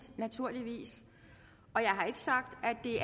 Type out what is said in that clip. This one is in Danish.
naturligvis